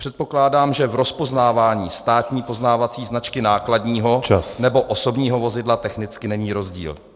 Předpokládám, že v rozpoznávání státní poznávací značky nákladního nebo osobního vozidla technicky není rozdíl.